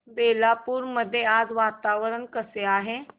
बेलापुर मध्ये आज वातावरण कसे आहे